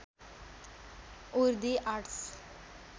उर the arts